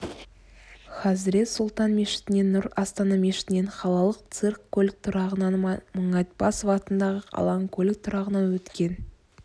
хазрет сұлтан мешітінен нұр астана мешітінен қалалық цирк көлік тұрағынан мұңайтпасов атындағы алаң көлік тұрағынан өткен